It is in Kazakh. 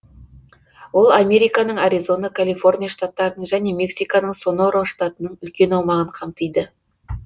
ол американың аризона калифорния штаттарының және мексиканың сонора штатының үлкен аумағын қамтиды